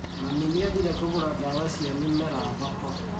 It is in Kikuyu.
Mami nĩathire kũgũra ndawa cia mĩmera thoko